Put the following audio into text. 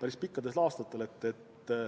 päris palju aastaid.